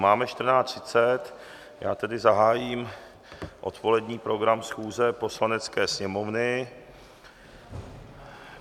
Máme 14.30, já tedy zahájím odpolední program schůze Poslanecké sněmovny.